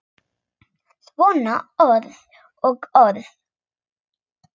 Svona orð og orð.